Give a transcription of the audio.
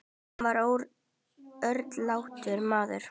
Hann var örlátur maður.